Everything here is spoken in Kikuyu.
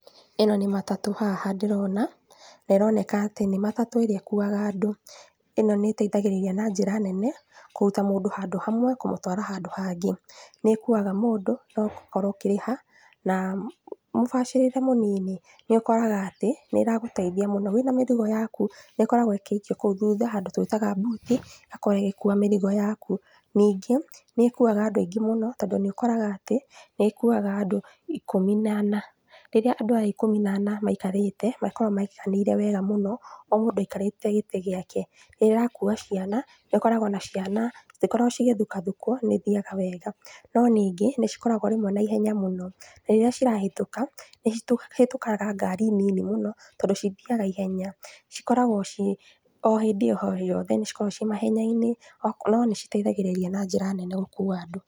Ĩno nĩ matatũ haha ndĩrona, na ĩroneka atĩ nĩ matatũ ĩrĩa ĩkuaga andũ. Ĩno nĩĩteithagĩrĩria na njĩra nene kũruta mũndũ handũ hamwe kũmũtwara handũ hangĩ, nĩĩkuaga mũndũ no ũgakorwo ũkĩrĩha na mũbacĩrĩre mũnini. Nĩũkoraga atĩ, nĩĩragũteithia mũno wĩna mĩrigo yaku nĩĩkoragwo ĩgĩikio kũu thutha handũ twitaga mbuti, ĩgakorwo ĩgĩkua mĩrigo yaku. Ningĩ, nĩĩkuaga andũ aingĩ mũno tondũ nĩũkoraga atĩ nĩĩkuaga andũ ikũmi na ana. Rĩrĩa andũ aya ikũmi na ana maikarĩte, makoragwo maiganĩire wega mũno o mũndũ aikarĩte gĩtĩ gĩake. Rĩrĩa ĩrakua ciana, nĩũkoraga ona ciana citikoragwo cĩgĩthukathukwo nĩ ithiaga wega, no ningĩ nĩcikoragwo rĩmwe na ihenya mũno na rĩrĩa cirahĩtũka, nĩcihĩtũkaga ngari nini mũno tondũ cithiaga ihenya. Cikoragwo ci o hĩndĩ o yothe nĩcikoragwo ci mahenya-inĩ, no nĩciteithagĩrĩria na njĩra nene gũkua andũ.